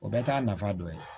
O bɛɛ t'a nafa dɔ ye